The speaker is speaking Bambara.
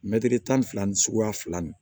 Mɛtiri tan ni fila ni suguya fila ni